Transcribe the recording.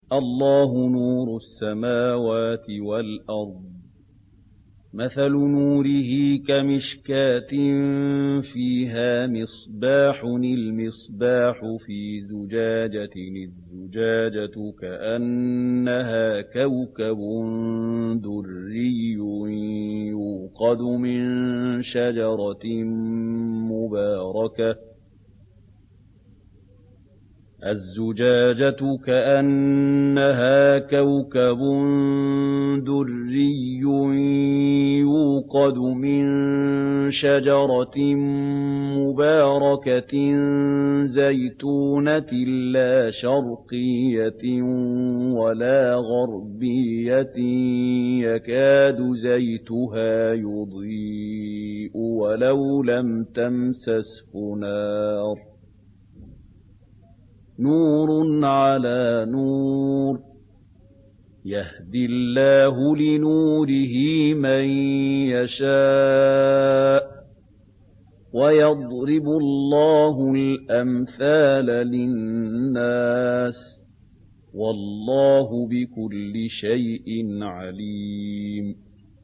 ۞ اللَّهُ نُورُ السَّمَاوَاتِ وَالْأَرْضِ ۚ مَثَلُ نُورِهِ كَمِشْكَاةٍ فِيهَا مِصْبَاحٌ ۖ الْمِصْبَاحُ فِي زُجَاجَةٍ ۖ الزُّجَاجَةُ كَأَنَّهَا كَوْكَبٌ دُرِّيٌّ يُوقَدُ مِن شَجَرَةٍ مُّبَارَكَةٍ زَيْتُونَةٍ لَّا شَرْقِيَّةٍ وَلَا غَرْبِيَّةٍ يَكَادُ زَيْتُهَا يُضِيءُ وَلَوْ لَمْ تَمْسَسْهُ نَارٌ ۚ نُّورٌ عَلَىٰ نُورٍ ۗ يَهْدِي اللَّهُ لِنُورِهِ مَن يَشَاءُ ۚ وَيَضْرِبُ اللَّهُ الْأَمْثَالَ لِلنَّاسِ ۗ وَاللَّهُ بِكُلِّ شَيْءٍ عَلِيمٌ